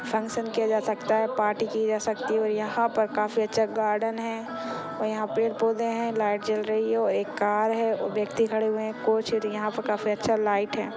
Function किया जा सकता है पार्टी की जा सकती है और यहाँ पर काफी अच्छा गार्डन है और यहाँ पेड़ पौधे है लाइट जल रही है और एक कार है और व्यक्ति खड़े हुए है यहाँ पे काफी अच्छा लाइट है।